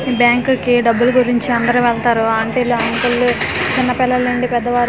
Bank కీ డబ్బులు గురించి అందరూ వెళ్తారు ఆంటీలు అంకులు చిన్న పిల్లలు నుండి పెద్దవారు .